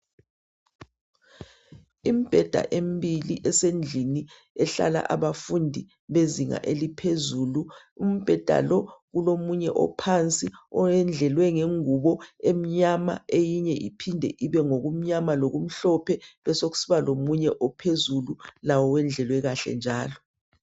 Imibheda emibili esendlini ehlala abafundi bezinga eliphezulu. Ubheda lo kulomunye phansi owedlelwe ngengubo emnyama eyinye iphinde ibe ngokumnyama lokumhlophe besokusiba lokunye ophezulu lawo wedlele kahle njalo.